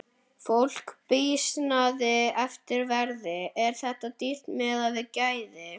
Fólk býsnast yfir verði, er þetta dýrt miðað við gæði?